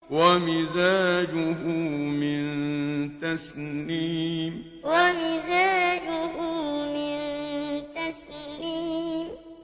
وَمِزَاجُهُ مِن تَسْنِيمٍ وَمِزَاجُهُ مِن تَسْنِيمٍ